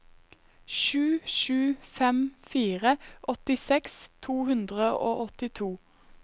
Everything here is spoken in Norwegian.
sju sju fem fire åttiseks to hundre og åttito